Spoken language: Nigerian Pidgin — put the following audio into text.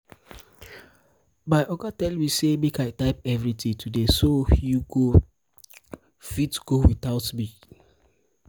my um oga tell me say make i type everything today so so you go fit go without me